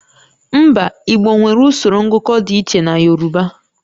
Mba, Igbo nwere usoro ngụkọ dị iche na Yorùbá